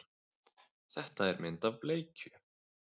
Þetta er mynd af bleikju.